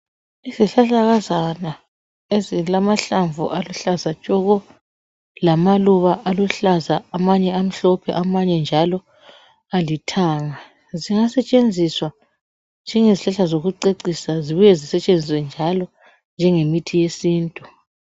Yizihlahlakazana ezilamanhlamvu aluhlaza tshoko lamaluba aluhlaza amanye amhlophe amanye njalo alithanga. Angasetshenziswa njengezihlahla zokucecisa zibuye zisetshenziswe njalo njengemithi yesintu